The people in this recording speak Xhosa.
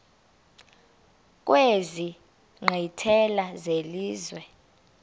kwezi nkqwithela zelizwe